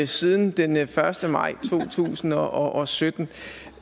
siden den første maj to tusind og sytten så